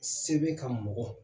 Se be ka mɔgɔ